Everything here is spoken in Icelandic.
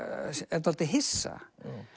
er dálítið hissa